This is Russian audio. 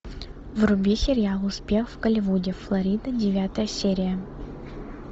вруби сериал успех в голливуде флорида девятая серия